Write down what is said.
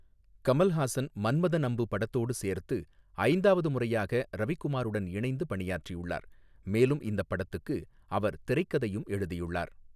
கமல்ஹாசன் 'மன்மதன் அம்பு' படத்தோடு சேர்த்து ஐந்தாவது முறையாக ரவிக்குமாருடன் இணைந்து பணியாற்றியுள்ளார், மேலும் இந்தப் படத்துக்கு அவர் திரைக்கதையும் எழுதியுள்ளார்.